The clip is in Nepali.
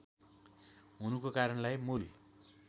हुनुको कारणलाई मूल